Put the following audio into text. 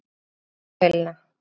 Láttu mig fá myndavélina!